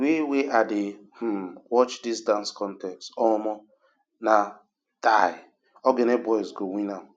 di wey i dey um watch dis dance contest um na um ogene boys go win am